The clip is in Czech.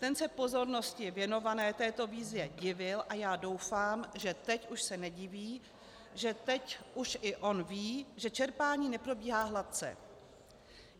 Ten se pozornosti věnované této výzvě divil a já doufám, že teď už se nediví, že teď už i on ví, že čerpání neprobíhá hladce.